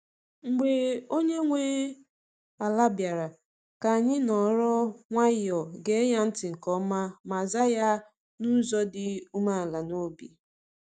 Mgbe onye nwe ala bịara, ka anyị nọrọ nwayọọ, gee ya ntị nke ọma, ma zaa ya n’ụzọ dị umeala n’obi.